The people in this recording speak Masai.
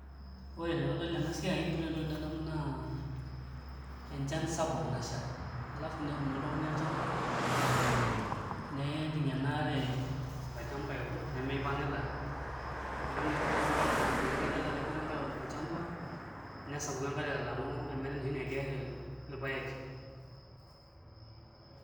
Ore tenadol ena siai ore entoki nadamu naa enchan sapuk nasha alafu netuuno oltung'ani olchamba nejing' ena are olchmba aiput nemipang'ita neeku naa iputa enkare enoshi kata taata iputa enkare olchamba nesapuku enkare alang'u ometaa enoshi naa ekerr ipaek.